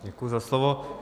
Děkuji za slovo.